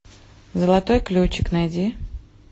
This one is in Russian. золотой ключик найди